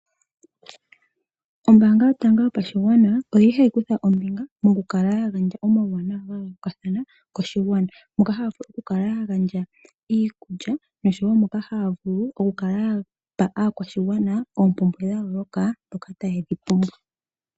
Ombaanga yotango yopashigwana mokukala ya gandja omauwanawa gayoolokathana koshigwana iikulya oshowo mboka haya vulu okukala ya pa aakwashigwana oompumbwe dha yooloka dhoka taye dhi pumbwa.